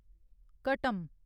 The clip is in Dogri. घटम